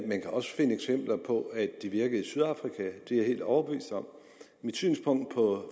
man kan også finde eksempler på at de virkede i sydafrika det er jeg helt overbevist om mit synspunkt